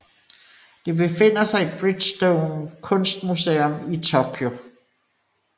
Det befinder sig i Bridgestone Kunstmusuem i Tokyo